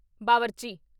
ਬਾਵਰਚੀ